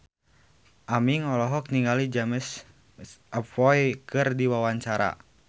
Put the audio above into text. Aming olohok ningali James McAvoy keur diwawancara